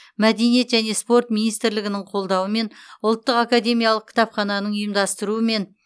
мәдениет және спорт министрлігінің қолдауымен ұлттық академиялық кітапхананың ұйымдастыруымен